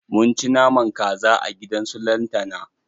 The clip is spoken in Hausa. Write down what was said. Mun ci naman kaza a gidan su lantana.